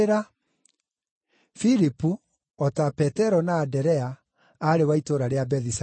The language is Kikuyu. Filipu, o ta Petero na Anderea, aarĩ wa itũũra rĩa Bethisaida.